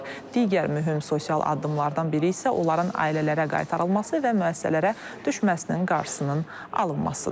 Digər mühüm sosial addımlardan biri isə onların ailələrə qaytarılması və müəssisələrə düşməsinin qarşısının alınmasıdır.